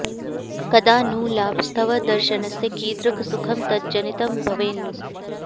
कदा नु लाभस्तव दर्शनस्य कीदृक् सुखं तज्जनितं भवेन्नु